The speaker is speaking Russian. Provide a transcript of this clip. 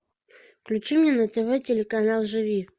включи мне на тв телеканал живи